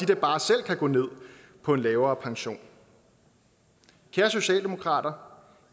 da bare selv kan gå ned på en lavere pension kære socialdemokrater